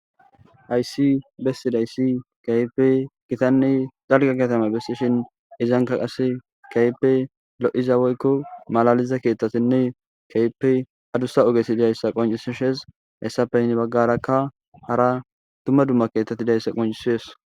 Aysi bessidayssi kaype gitanne dalga katame besishin izanka qase kaype lo'iza woykko malaliza keethtatinne kaype adussa ogesi biyayssa qoncisishes hessapeyni baggarakka hara dumma dumma keettati dayssa qoncisees